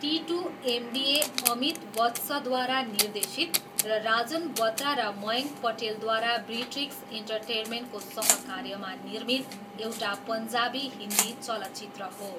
Titu MBA Amit वत्सद्वारा निर्देशित र राजन बत्रा र मयङ्क पटेलद्वारा ब्रिट्रिक्स एन्टरटेन्मेन्टको सहकार्यमा निर्मित एउटा पन्जाबी हिन्दी चलचित्र हो।